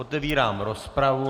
Otevírám rozpravu.